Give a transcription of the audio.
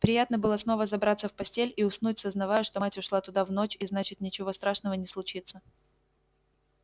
приятно было снова забраться в постель и уснуть сознавая что мать ушла туда в ночь и значит ничего страшного не случится